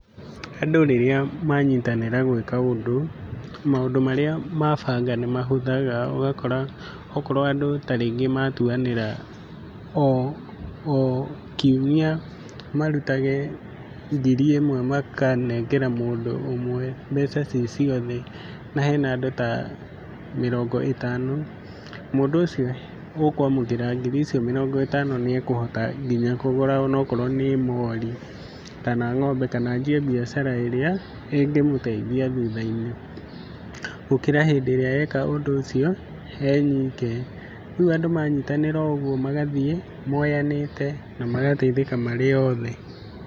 Andũ rĩrĩa manyitanĩra gwĩka ũndũ maũndũ marĩa mabanga ni mahũthaga ũgakora okorwo andũ ta rĩngĩ matuanĩra o Kiumia marutage ngiri ĩmwe makanengera mũndũ ũmwe mbeca cii ciothe, na hena andũ ta mĩrongo ĩtano, mũndũ ũcio ũkũamũkĩra mbeca icio, nĩ ekũhota nginya kũgũra okorwo nĩ mori kana ng'ombe kana anjie biacara ĩrĩa ĩngĩmũteithia thutha-inĩ, gũkĩra hĩndĩ ĩrĩa eka ũndũ ũcio e nyike. Rĩu andũ manyitanĩra ũguo magathiĩ moyanĩte na mateithĩkĩte marĩ othe.